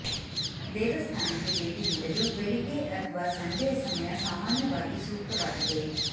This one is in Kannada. ದೇವಸ್ಥಾನಕ್ಕೆ ಭೇಟಿ ನೀಡಲು ಬೆಳಿಗ್ಗೆ ಅಥಬಾ ಸಂಜೆಯ ಸಮಯ ಸಾಮಾನ್ಯವಾಗಿ ಸೂಕ್ತವಾಗಿದೆ